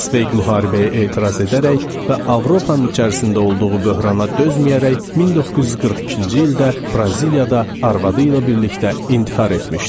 Sveq müharibəyə etiraz edərək və Avropanın içərisində olduğu böhrana dözməyərək 1942-ci ildə Braziliyada arvadı ilə birlikdə intihar etmişdi.